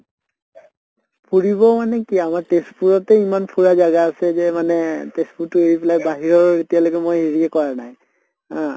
ফুৰিব মানে কি আমাৰ তেজপুৰতে ইমান ফুৰা জাগা আছে যে মানে তেজপুৰতো এৰি পেলে বাহিৰৰ এতিয়ালৈকে মই এৰিয়ে কৰা নাই অহ